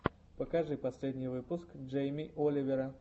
покажи последний выпуск джейми оливера